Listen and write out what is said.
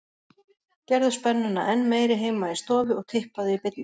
Gerðu spennuna enn meiri heima í stofu og tippaðu í beinni.